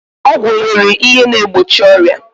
Ọgwụ nwere ihe na egbochi ọrịa